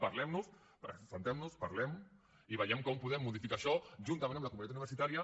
seiem parlem ne i veiem com podem modificar això juntament amb la comunitat universitària